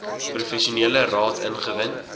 professionele raad ingewin